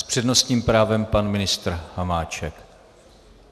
S přednostním právem pan ministr Hamáček.